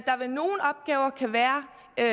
der